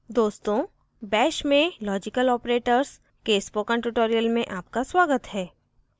दोस्तों bash में logical operators के spoken tutorial में आपका स्वागत है